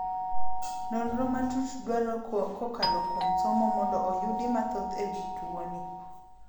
Nonro matut dwaro kokalo kuom somo mondo oyudi mathoth ewi tuoni.